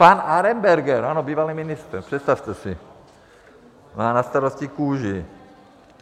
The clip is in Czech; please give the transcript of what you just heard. Pan Arenberger, ano, bývalý ministr, představte si, má na starosti kůži.